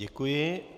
Děkuji.